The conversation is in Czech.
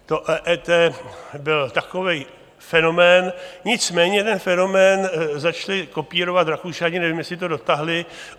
To EET byl takový fenomén, nicméně ten fenomén začali kopírovat Rakušané, nevím, jestli to dotáhli.